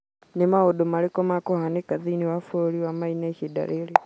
nĩ maũndũ marĩkũ mekũhaanĩka thĩinĩ wa bũrũri wa Maine ihinda rĩrĩ